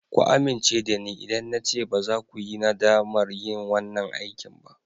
Ku amince da ni idan na ce baza ku yi nadamar yin wanan aikin ba.